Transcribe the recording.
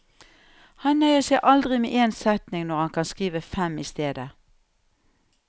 Han nøyer seg aldri med én setning når han kan skrive fem i stedet.